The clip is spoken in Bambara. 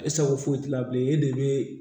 E sago foyi t'a la bilen e de bɛ